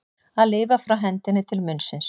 Að lifa frá hendinni til munnsins